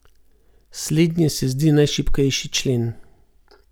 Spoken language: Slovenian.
Slednje se zdi najšibkejši člen.